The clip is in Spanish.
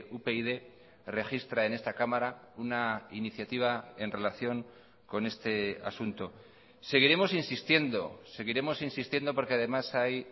upyd registra en esta cámara una iniciativa en relación con este asunto seguiremos insistiendo seguiremos insistiendo porque además hay